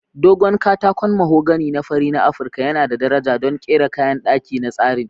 Dogon katakon mahogany na fari na Afirka yana da daraja don kera kayan daki da tsarin.